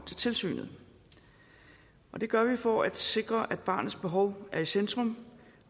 til tilsynet det gør vi for at sikre at barnets behov er i centrum